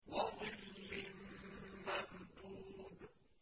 وَظِلٍّ مَّمْدُودٍ